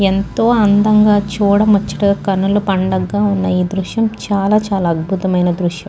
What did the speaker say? ఎంతో అందంగా చూడముచ్చటగా కనుల పండుగగా వున్న ఈ దృశ్యం చాల చాల అద్భుతమైన దృశ్యం.